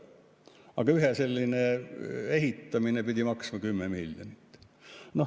Aga ühe sellise ehitamine pidi maksma 10 miljonit.